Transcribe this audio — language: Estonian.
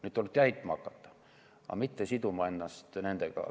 Nüüd tuleb täitma hakata, aga mitte siduda ennast nendega.